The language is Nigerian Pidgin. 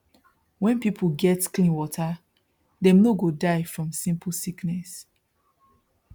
when people get clean water dem no go die from simple sickness